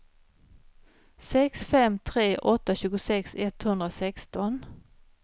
sex fem tre åtta tjugosex etthundrasexton